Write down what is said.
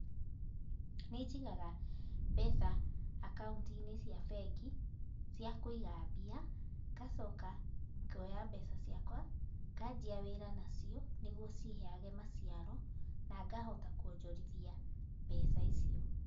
Nĩnjigaga mbeca akaunti-inĩ cia bengi, cia kũiga mbia, ngacoka ngoya mbeca ciakwa, nganjia wĩra nacio, niguo ciheage maciaro nangahota kwonjorithia mbeca icio.